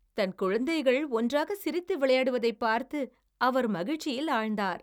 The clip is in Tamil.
தன் குழந்தைகள் ஒன்றாகச் சிரித்து விளையாடுவதைப் பார்த்து அவர் மகிழ்ச்சியில் ஆழ்ந்தார்.